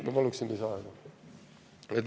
Ma palun lisaaega.